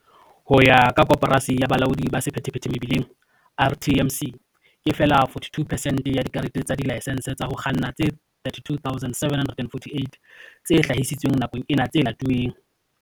Ho ya ka Koporasi ya Bolaodi ba Sephethephethe Mebileng, RTMC, ke feela 42 percent ya dikarete tsa dilaesense tsa ho kganna tse 32 748 tse hlahisitsweng nakong ena tse latuweng.